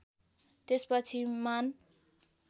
त्यसपछि मान